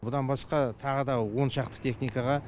бұдан басқа тағы да он шақты техникаға